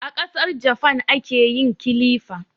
A Kasar Jafan ake yin kilifa